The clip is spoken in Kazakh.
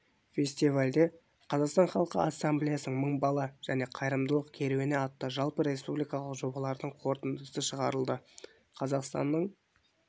фестивальде қазақстан халқы ассамблеясының мың бала және қайырымдылық керуені атты жалпы республикалық жобалардың қорытындысы шығарылды қазақстанның